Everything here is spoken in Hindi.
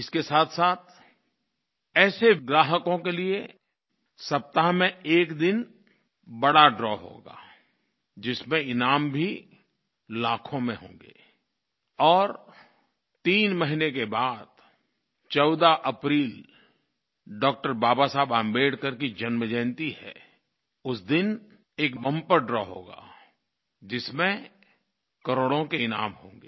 इसके साथसाथ ऐसे ग्राहकों के लिये सप्ताह में एक दिन बड़ा द्रव होगा जिसमें ईनाम भी लाखों में होंगे और तीन महीने के बाद 14 अप्रैल डॉक्टर बाबा साहेब आंबेडकर की जन्म जयन्ती है उस दिन एक बम्पर द्रव होगा जिसमें करोड़ों के ईनाम होंगे